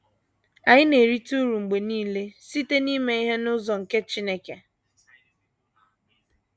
Anyị na - erite uru mgbe nile site n’ime ihe n’ụzọ nke Chineke.